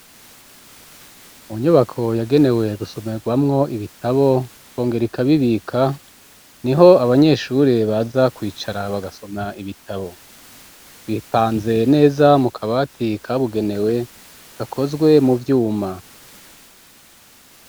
Mu nyubako yagenewe gusomerwamwo ibitabo ikongera ikabibika niho abanyeshuri baza kwicara bagasoma ibitabo, bipanze neza mu kabati kabugenewe gakozwe mu vyuma.